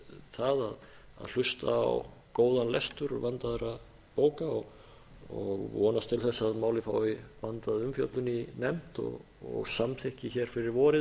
það að hlusta á góðan lestur verndaðra bóka og er vonast til þess að málið fái vandaða umfjöllun í nefnd og samþykki fyrir vorið